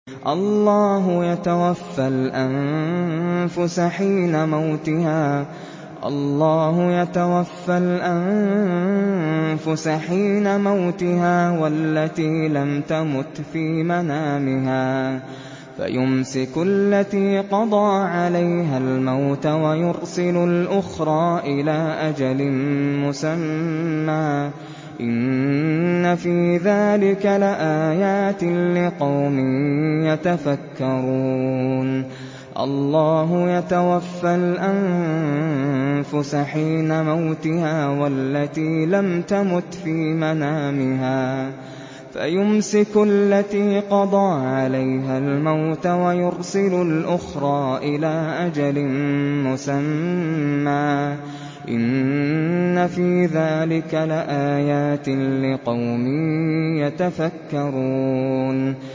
اللَّهُ يَتَوَفَّى الْأَنفُسَ حِينَ مَوْتِهَا وَالَّتِي لَمْ تَمُتْ فِي مَنَامِهَا ۖ فَيُمْسِكُ الَّتِي قَضَىٰ عَلَيْهَا الْمَوْتَ وَيُرْسِلُ الْأُخْرَىٰ إِلَىٰ أَجَلٍ مُّسَمًّى ۚ إِنَّ فِي ذَٰلِكَ لَآيَاتٍ لِّقَوْمٍ يَتَفَكَّرُونَ